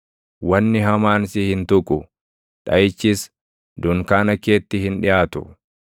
wanni hamaan si hin tuqu; dhaʼichis dunkaana keetti hin dhiʼaatu.